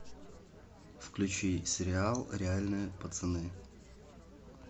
включи сериал реальные пацаны